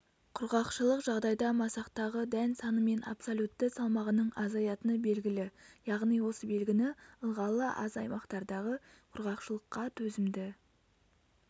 құрғақшылық жағдайда масақтағы дән саны мен абсолютті салмағының азаятыны белгілі яғни осы белгіні ылғалы аз аймақтардағы құрғақшылыққа төзімді